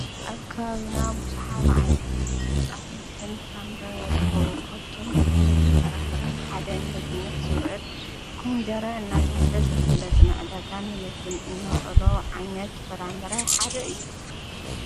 ኣብ ከባቢና ብዙኃ ዓይነታት ኣሕምልትን ፍራምርን ይርኮቡ ኳብቶም ኣሕምልትን ፍራምረን ሓደ ን ምብነት ዝውዕል ኩምደረ እናተውሃደ ዝፍለጥ ንኣዕደጋን ምግብን እነውዕሎ ዓይነት ፍራምረ ሓደ እዩ